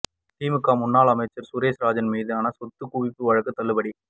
திமுக முன்னாள் அமைச்சர் சுரேஷ்ராஜன் மீதான சொத்து குவிப்பு வழக்கு தள்ளுபடி